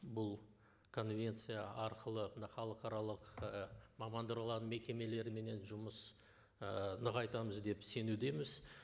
бұл конвенция арқылы мына халықаралық і мамандырылған мекемелерменен жұмыс ы нығайтамыз деп сенудеміз